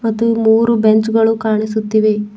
ಮತ್ತು ಮೂರು ಬೆಂಚ್ ಗಳು ಕಾಣಿಸುತ್ತಿವೆ.